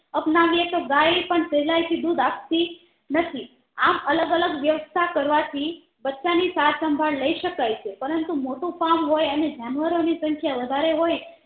અપનાવીએ તો ગાય પણ સહેલાય થી દુધ આપતી નથી આમ અલગ અલગ વ્યવસ્થા કરવાથી બચ્ચા ની સારસંભાળ લાય શકાય છે પરંતુ મોટું farm હોય અને જાનવરો ની સંખ્યા વધારે હોય